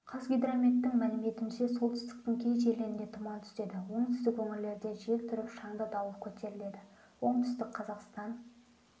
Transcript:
қазгидрометтің мәліметінше солтүстіктің кей жерлерінде тұман түседі оңтүстік өңірлерде жел тұрып шаңды дауыл көтеріледі оңтүстік қазақстан